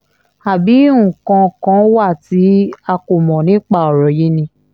àbí nǹkan kan wà tí a kò mọ̀ nípa ọ̀rọ̀ yìí ni